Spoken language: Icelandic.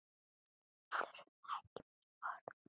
Við þurfum ekki mín orð.